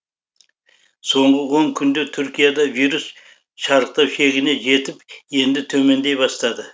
соңғы он күнде түркияда вирус шарықтау шегіне жетіп енді төмендей бастады